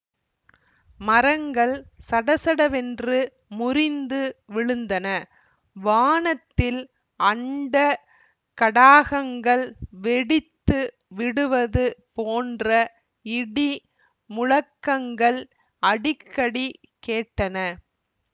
மரங்கள் சடசடவென்று முறிந்து விழுந்தன வானத்தில் அண்ட கடாகங்கள் வெடித்து விடுவது போன்ற இடி முழக்கங்கள் அடிக்கடி கேட்டன